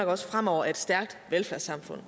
også fremover er et stærkt velfærdssamfund